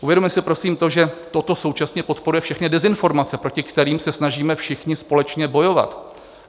Uvědomme si prosím to, že toto současně podporuje všechny dezinformace, proti kterým se snažíme všichni společně bojovat.